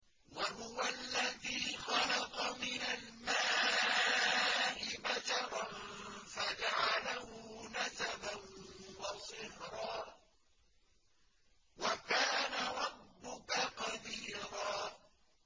وَهُوَ الَّذِي خَلَقَ مِنَ الْمَاءِ بَشَرًا فَجَعَلَهُ نَسَبًا وَصِهْرًا ۗ وَكَانَ رَبُّكَ قَدِيرًا